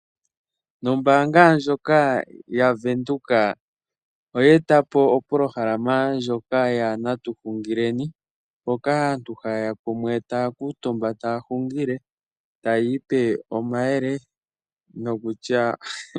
Ombaanga ndjoka ya venduka , eye etapo opolohalama ndjoka yana tuhungileni mpoka aanru haya luutumba taya hungile tayiipe omayele .